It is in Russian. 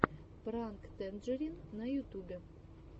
пранк тэнджерин на ютубе